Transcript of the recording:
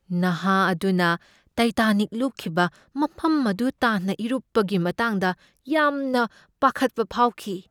ꯅꯍꯥ ꯑꯗꯨꯅ ꯇꯥꯏꯇꯥꯅꯤꯛ ꯂꯨꯞꯈꯤꯕ ꯃꯐꯝ ꯑꯗꯨ ꯇꯥꯟꯅ ꯏꯔꯨꯞꯄꯒꯤ ꯃꯇꯥꯡꯗ ꯌꯥꯝꯅ ꯄꯥꯈꯠꯄ ꯐꯥꯎꯈꯤ ꯫